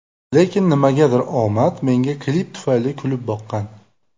Lekin, nimagadir omad menga klip tufayli kulib boqqan.